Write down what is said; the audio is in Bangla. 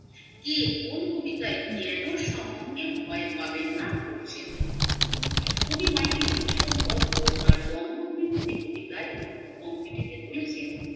কে কোন কবিতায় কেনো সমন কে ভয় পাবেন না বলছেন কবি মাইকেল মধুসুধন দত্ত তার বঙ্গভূমির প্রতি কবিতায় উক্ত পঙক্তি বলেছেন